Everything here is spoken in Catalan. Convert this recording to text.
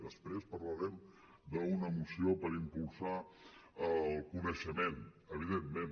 després parlarem d’una moció per impulsar el coneixement evidentment